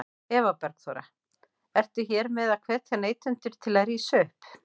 Eva Bergþóra: Ertu hér með að hvetja neytendur til að rísa upp?